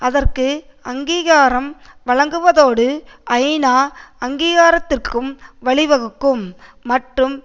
அதற்கு அங்கீகாரம் வழங்குவதோடு ஐநா அங்கீகாரத்திற்கும் வழிவகுக்கும் மற்றும்